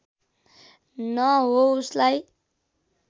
न हो उसलाई